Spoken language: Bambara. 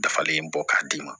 Dafalen bɔ k'a d'i ma